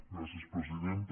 gràcies presidenta